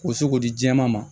K'o se k'o di jɛma ma